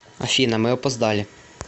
афина мы опоздали